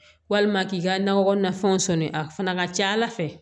Walima k'i ka nakɔ kɔnɔna fɛnw sɔni a fana ka ca ala fɛ